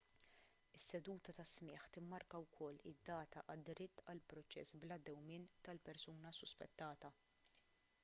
is-seduta ta' smigħ timmarka wkoll id-data għad-dritt għal proċess bla dewmien tal-persuna suspettata